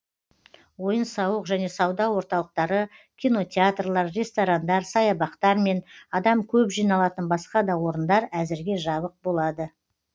ойын сауық және сауда орталықтары кинотеатрлар ресторандар саябақтар мен адам көп жиналатын басқа да орындар әзірге жабық болады